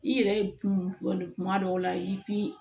I yɛrɛ kunkolo kuma dɔw la i fin